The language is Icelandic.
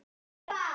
Hvað þá?